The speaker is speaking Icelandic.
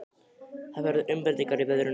Það verða umbreytingar í veðrinu.